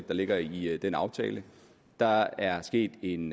der ligger i den aftale der er sket en